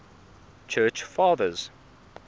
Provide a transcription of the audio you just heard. church fathers